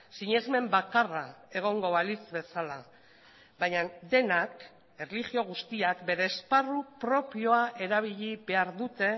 sinesmen bakarra egongo balitz bezala baina denak erlijio guztiak bere esparru propioa erabili behar dute